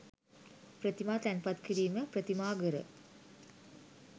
ප්‍රතිමා තැන්පත් කිරීම, ප්‍රතිමාඝර